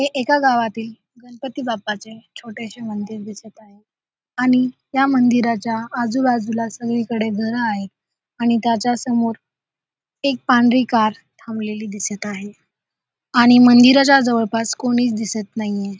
हे एका गावातील गणपती बाप्पाचे छोटेसे मंदिर दिसत आहे आणि या मंदिराच्या आजूबाजूला सगळीकडे घर आहेत आणि त्याच्यासमोर एक पांढरी कार थांबलेली दिसत आहे आणि मंदिराच्या जवळपास कोणीही दिसत नाहीये.